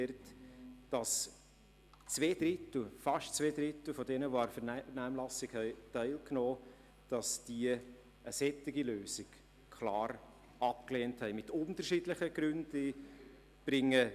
Fast zwei Drittel, die an der Vernehmlassung teilgenommen haben, haben eine solche Lösung aus unterschiedlichen Gründen klar abgelehnt.